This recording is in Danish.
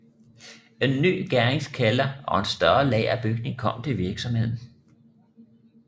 En ny gæringskælder og en større lagerbygning kom til virksomheden